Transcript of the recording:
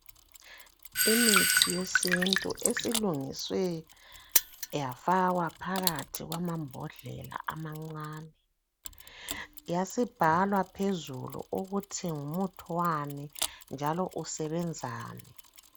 Imithi yesintu esilungiswe yafakwa phakathi kwamambhodlela amancane, yasibhalwa phezulu ukuthi ngumuthi wani njalo usebenzani.